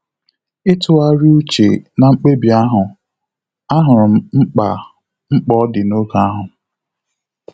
Ịtughari uche na mkpebi ahụ, ahụrụ m mkpa mkpa ọ dị n'oge ahụ